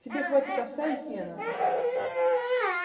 тебе хватит овса и сена